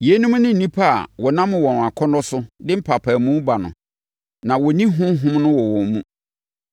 Yeinom ne nnipa a wɔnam wɔn akɔnnɔ so de mpaapaemu ba no. Na wɔnni Honhom no wɔ wɔn mu.